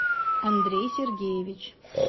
андрей сергеевич